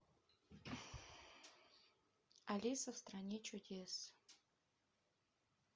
алиса в стране чудес